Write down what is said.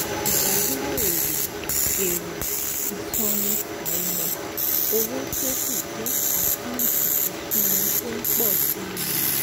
Ìdádúró èrè èrè ìsọnù àìmọ̀ -owó tó kù jẹ́ àkántì ìsọnù tó ń pọ̀ si